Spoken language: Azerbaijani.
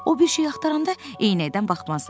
O bir şey axtaranda eynəkdən baxmaz.